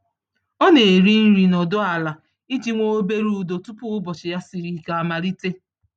Ọ na-eri nri nọdụ ala iji nwee obere udo tupu ụbọchị ya siri ike amalite.